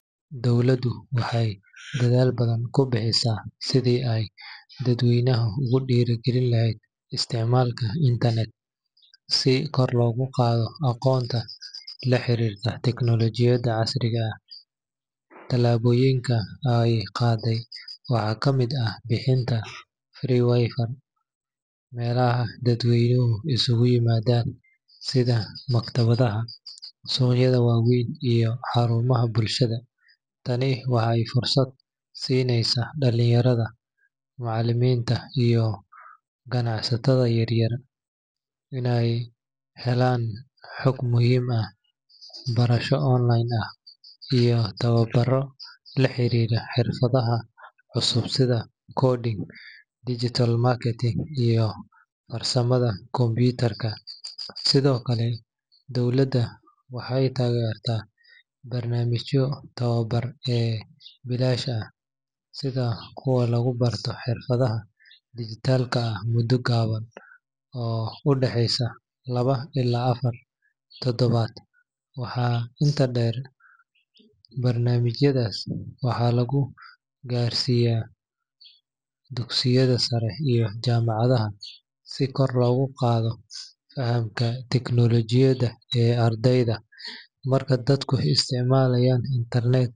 Dowladdu waxay dadaal badan ku bixineysaa sidii ay dadweynaha ugu dhiirrigelin lahayd isticmaalka internet si kor loogu qaado aqoonta la xiriirta tiknoolajiyadda casriga ah. Tallaabooyinka ay qaaday waxaa ka mid ah bixinta free Wi-Fi meelaha dadweynuhu isugu yimaadaan sida maktabadaha, suuqyada waaweyn, iyo xarumaha bulshada. Tani waxay fursad siinaysaa dhalinyarada, macalimiinta, iyo ganacsatada yaryar inay helaan xog muhiim ah, barasho online ah, iyo tababarro la xiriira xirfadaha cusub sida coding, digital marketing, iyo farsamada kombiyuutarka. Sidoo kale, dowladda waxay taageertay barnaamijyo tababar oo bilaash ah sida kuwa lagu barto xirfadaha dijitaalka ah muddo gaaban oo u dhaxeysa laba ilaa afar toddobaad. Waxaa intaa dheer, barnaamijyadaas waxaa lagu gaarsiiyay dugsiyada sare iyo jaamacadaha si kor loogu qaado fahamka tiknoolajiyadda ee ardayda. Marka dadku isticmaalaan internet.